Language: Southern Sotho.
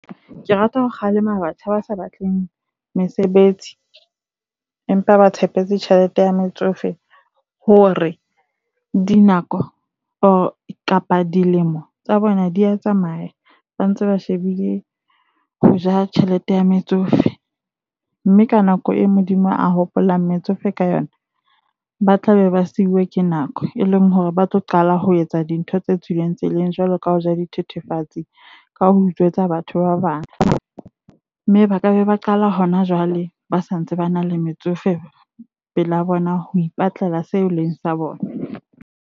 Ke rata ho kgalema batjha ba sa batleng mesebetsi empa ba tshepetse tjhelete ya metsofe hore dinako kapa dilemo tsa bona di a tsamaya ba ntse ba shebile ho ja tjhelete ya metsofe. Mme ka nako eo Modimo a hopolang metsofe ka yona, ba tlabe ba siuwe ke nako. E leng hore ba tlo qala ho etsa dintho tse tswileng tseleng, jwalo ka ho ja dithethefatsi. Ka ho utswetsa batho ba bang. Mme ba ka be ba qala ho na jwale, ba sa ntse ba na le metsofe pele bona. Ho ipatlela seo leng sa bona.